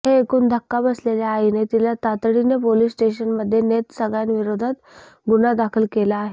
हे ऐकून धक्का बसलेल्या आईने तिला तातडीने पोलीस स्टेशनमध्ये नेत सगळ्यांविरोधात गुन्हा दाखल केला आहे